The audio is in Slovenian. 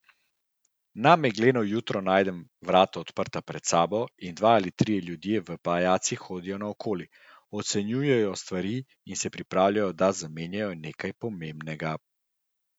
Na megleno jutro najdem vrata odprta pred sabo in dva ali trije ljudje v pajacih hodijo naokoli, ocenjujejo stvari in se pripravljajo, da zamenjajo nekaj pomembnega.